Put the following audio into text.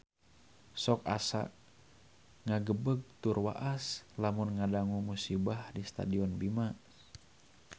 Sok asa ngagebeg tur waas lamun ngadangu musibah di Stadion Bima